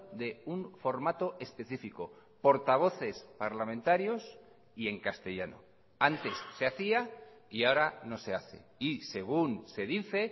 de un formato específico portavoces parlamentarios y en castellano antes se hacía y ahora no se hace y según se dice